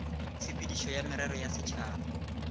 tshepedišo ya merero ya setšhaba